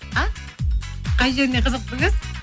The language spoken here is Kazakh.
а қай жеріне қызықтыңыз